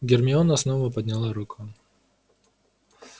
гермиона снова подняла руку